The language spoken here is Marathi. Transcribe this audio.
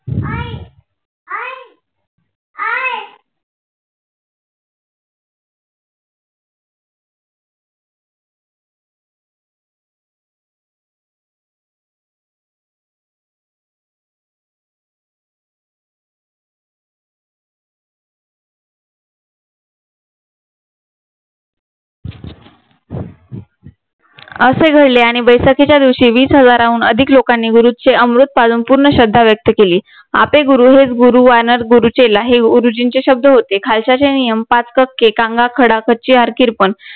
असे घडले आणि बैसाखीच्या दिवशी वीस हजाराहून अधिक लोकांनी गुरूंचे अमृत पाजून पूर्ण श्रद्धा व्यक्त केली आपे गुरु हेच गुरु वानर गुरु चेला हे गुरुजींचे शब्द होते खाल्स्याचे नियम हात काके कांगा कडा कचे ऑर किर्पाण